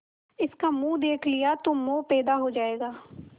इसका मुंह देख लिया तो मोह पैदा हो जाएगा